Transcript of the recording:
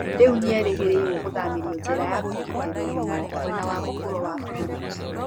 Rĩu nĩ erĩgĩrĩirũo gũthamĩrio njera ya kũgitĩrwo mũno mwena wa mũvuro wa vũrũri ũcio.